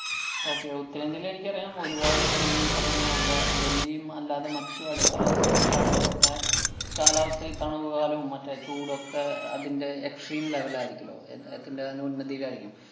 okay, ഉത്തരേന്ത്യല് എനിക്കറിയാം ഒരുപാടു ഈ പറയുന്ന ക~ ഡൽഹിയും, അല്ലാതെ മറ്റു അടുത്തുള്ള സംസ്ഥാനങ്ങളിലോക്കെ കാലാവസ്ഥയില്‍ ഈ തണുവുകാലവും, മറ്റു ചൂടൊക്കെ അതിന്‍റെ extreme level ആയിരിക്കൂലോ എത്~ എതിന്‍റെ തന്നെ ഉന്നതിയിലായിരിക്കും.